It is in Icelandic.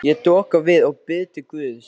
Ég doka við og bið til guðs.